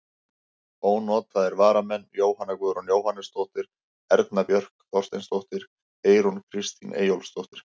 Ónotaðir varamenn: Jóhanna Guðrún Jóhannesdóttir, Erna Björk Þorsteinsdóttir, Eyrún Kristín Eyjólfsdóttir.